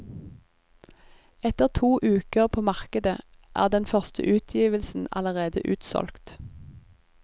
Etter to uker på markedet er den første utgivelsen allerede utsolgt.